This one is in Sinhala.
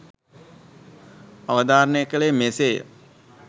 අවධාරණය කළේ මෙසේ ය.